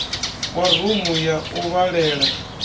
wa rumu ya u vhalela